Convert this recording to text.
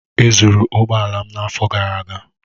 E zụrụ ụgbọ ala m n'afọ gara aga.